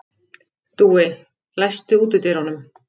Dúi, læstu útidyrunum.